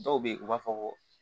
Dɔw bɛ yen u b'a fɔ ko